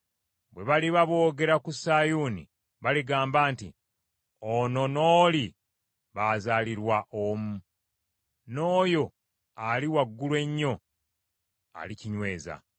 Bwe baliba boogera ku Sayuuni baligamba nti, “Ono n’oli baazaalirwa omwo,” n’oyo Ali Waggulu Ennyo alikinyweza.